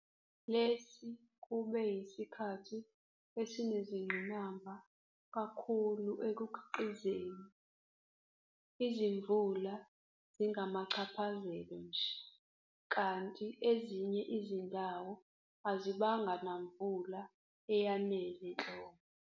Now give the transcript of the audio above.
Lesi kube yisikhathi esinenzingqinamba kakhulu ekukhiqizeni, izimvula zingamachaphazelo nje kanti ezinye izindawo azibanga namvula eyanele nhlobo.